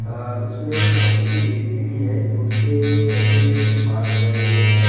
अ उसमें बहोत सी ए_सी भीं हैं उसके रेफ्रिजरेटर बाहर लगाए हुए हैं।